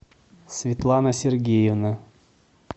светлана сергеевна